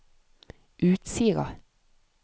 Utsira